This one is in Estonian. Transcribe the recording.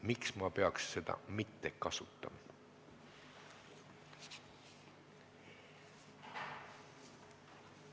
Miks ma peaks seda õigust mitte kasutama?